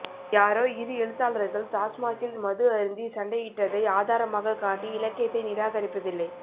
யாரோ இரு எழுத்தாளர்கள் டாஸ்மாக்கில் மது அருந்தி சண்டையிட்டதை ஆதாரமாககாட்டி இலக்கியத்தை நிராகரிப்பதில்லை